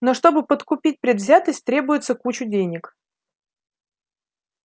но чтобы подкупить предвзятость требуется куча денег